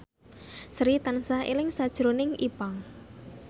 Sri tansah eling sakjroning Ipank